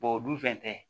o dun fɛn tɛ